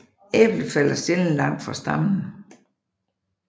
Æblet falder sjældent langt fra stammen